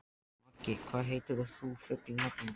Maggi, hvað heitir þú fullu nafni?